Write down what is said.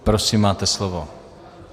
Prosím, máte slovo.